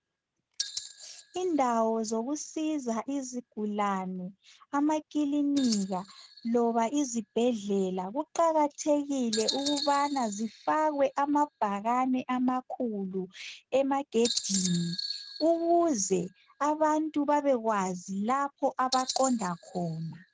Indawo zokusiza isigulane amakilinika loba izibhedlela kuqakathekile ukubana zifakwe amabhakani amakhulu emagedini ukuze abantu babekwazi lapho abaqonda khona